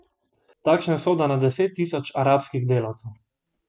Takšna je usoda na deset tisoč arabskih delavcev.